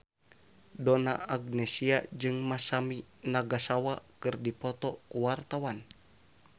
Donna Agnesia jeung Masami Nagasawa keur dipoto ku wartawan